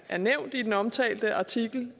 er nævnt i den omtalte artikel